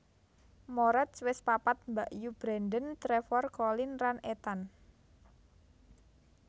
Moretz wis papat mbakyu Brandon Trevor Colin lan Ethan